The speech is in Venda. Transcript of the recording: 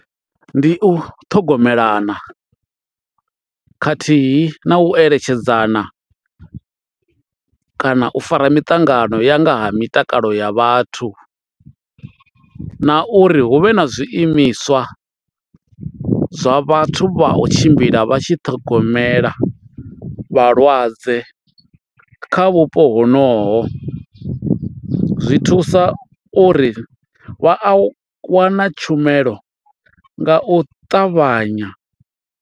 Ndi u ṱhogomelana khathihi na u eletshedzana kana u fara miṱangano ya nga ha mitakalo ya vhathu na uri hu vhe na zwiimiswa zwa vhathu vha u tshimbila vha tshi ṱhogomela vhalwadze kha vhupo honoho. Zwi thusa uri vha a wana tshumelo nga u ṱavhanya.